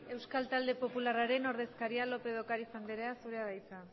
euskal talde popularraren ordezkaria lópez de ocariz anderea zurea da hitza